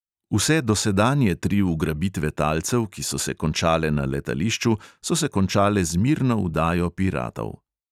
Vse dosedanje tri ugrabitve talcev, ki so se končale na letališču, so se končale z mirno vdajo piratov.